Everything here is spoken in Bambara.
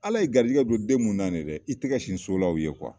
Ala ye garijɛgɛ don den munu na nin ye dɛ, i tɛgɛ sin so la u ye kuwa.